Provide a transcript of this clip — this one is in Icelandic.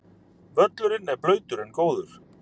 Völlurinn blautur en góður